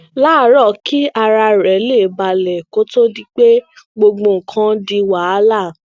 láàárò kí ara rè lè balè kó tó di pé gbogbo nǹkan di wàhálà